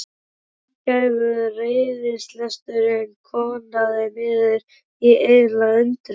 Margæfður reiðilesturinn koðnaði niður í einlæga undrun.